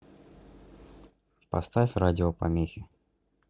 поставь радиопомехи